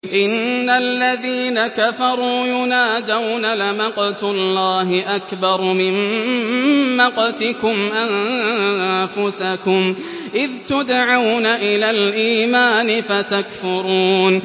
إِنَّ الَّذِينَ كَفَرُوا يُنَادَوْنَ لَمَقْتُ اللَّهِ أَكْبَرُ مِن مَّقْتِكُمْ أَنفُسَكُمْ إِذْ تُدْعَوْنَ إِلَى الْإِيمَانِ فَتَكْفُرُونَ